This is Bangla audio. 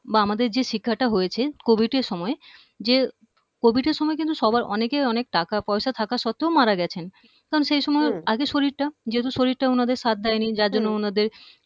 বা আমাদের যে শিখাটা হয়েছে covid সময়ে যে covid এর সময়ে কিন্তু সবার অনেকের অনেক টাকা পয়সা থাকা সত্ত্বেও মারা গেছেন কারণ সেই সময়ে উম আগে শরীরটা যেহেতু শরীরটা উনাদের সাথ দেয়নি যার জন্য উনাদের